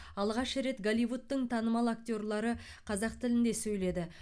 алғаш рет голливудтың танымал актерлары қазақ тілінде сөйледі